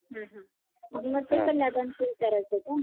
हं हं मग ते कन्यादान चं विचारायचं होतं